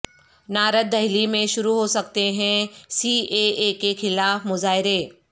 north Delhi میں شروع ہو سکتے ہیں سی اے اے کے خلاف مظاہرے